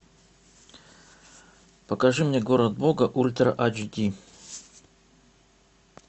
покажи мне город бога ультра айч ди